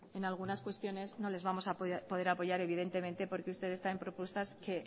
en algunas cuestiones no les a poder apoyar porque ustedes traen propuestas que